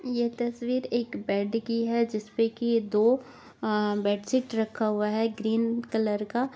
ये तस्वीर एक बेड की है जिस पे की ये दो आ बेड शीट रखा हुआ है ग्रीन कलर का--